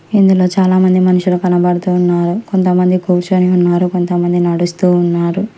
ఇందులో చాలామంది మనుషులు కనబడుతున్నారు కొంతమంది కూర్చుని ఉన్నారు కొంతమంది నడుస్తూ ఉన్నారు నడుస్తూ ఉన్నారు.